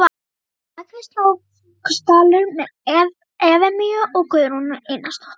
Að baki var Snóksdalur með Efemíu og Guðrúnu Einarsdóttur.